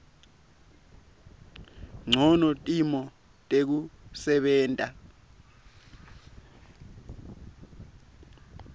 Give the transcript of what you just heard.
ncono timo tekusebenta